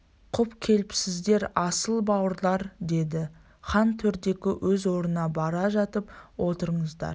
құп келіпсіздер асыл бауырлар деді хан төрдегі өз орнына бара жатып отырыңыздар